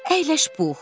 Əyləş Pux.